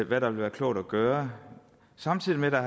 hvad der vil være klogt at gøre samtidig har der